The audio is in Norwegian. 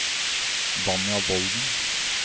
Vanja Volden